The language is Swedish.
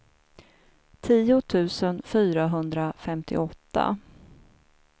tio tusen fyrahundrafemtioåtta